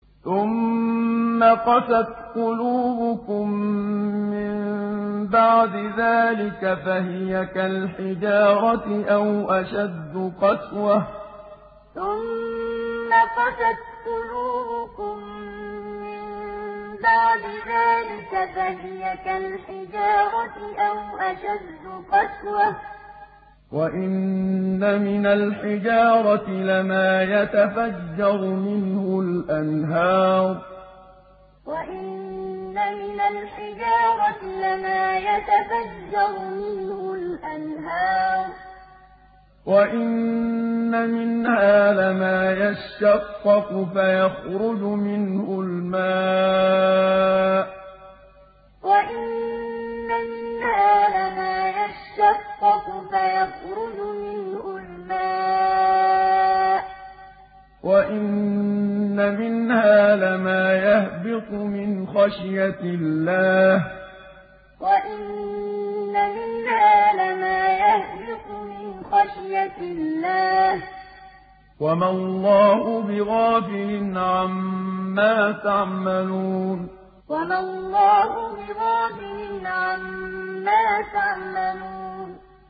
ثُمَّ قَسَتْ قُلُوبُكُم مِّن بَعْدِ ذَٰلِكَ فَهِيَ كَالْحِجَارَةِ أَوْ أَشَدُّ قَسْوَةً ۚ وَإِنَّ مِنَ الْحِجَارَةِ لَمَا يَتَفَجَّرُ مِنْهُ الْأَنْهَارُ ۚ وَإِنَّ مِنْهَا لَمَا يَشَّقَّقُ فَيَخْرُجُ مِنْهُ الْمَاءُ ۚ وَإِنَّ مِنْهَا لَمَا يَهْبِطُ مِنْ خَشْيَةِ اللَّهِ ۗ وَمَا اللَّهُ بِغَافِلٍ عَمَّا تَعْمَلُونَ ثُمَّ قَسَتْ قُلُوبُكُم مِّن بَعْدِ ذَٰلِكَ فَهِيَ كَالْحِجَارَةِ أَوْ أَشَدُّ قَسْوَةً ۚ وَإِنَّ مِنَ الْحِجَارَةِ لَمَا يَتَفَجَّرُ مِنْهُ الْأَنْهَارُ ۚ وَإِنَّ مِنْهَا لَمَا يَشَّقَّقُ فَيَخْرُجُ مِنْهُ الْمَاءُ ۚ وَإِنَّ مِنْهَا لَمَا يَهْبِطُ مِنْ خَشْيَةِ اللَّهِ ۗ وَمَا اللَّهُ بِغَافِلٍ عَمَّا تَعْمَلُونَ